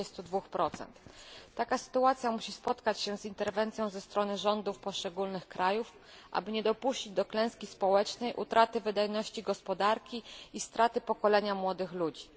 22. Taka sytuacja wymaga interwencji ze strony rządów poszczególnych krajów, aby nie dopuścić do klęski społecznej, utraty wydajności gospodarki i straty pokolenia młodych ludzi.